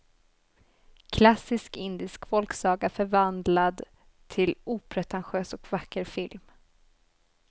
Klassisk indisk folksaga förvandlad till opretentiös och vacker film.